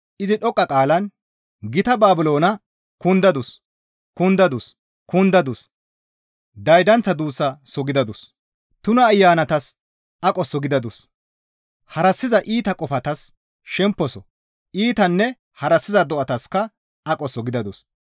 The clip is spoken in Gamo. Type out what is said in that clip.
Izi dhoqqa qaalan, «Gita Baabiloona kundadus! Kundadus! kundadus! Daydanththa duussaso gidadus! Tuna ayanatas aqoso gidadus! Harassiza iita kafotas shemposo, iitanne harassiza do7ataska aqoso gidadus.